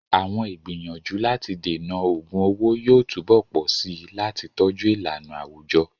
Àwọn ìgbìyànjú láti dènà ògun owó yóò túbọ̀ pọ̀ sí i láti tọ́jú ìlànà àwùjọ.